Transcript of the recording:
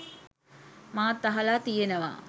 මාත් අහල තියෙනවා.